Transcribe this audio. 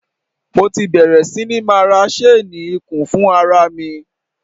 Mo ti bẹ̀rè sí ní máa ra ṣéénì ikùn fún ara mi.